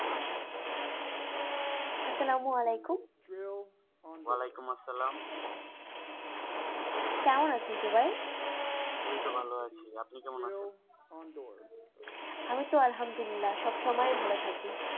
কেমন আছেন জুবাই? এইতো ভালো আছি আপনি কেমন আছেন? আমি তো সব সময় ভালো থাকি,